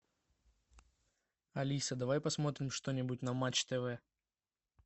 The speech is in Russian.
алиса давай посмотрим что нибудь на матч тв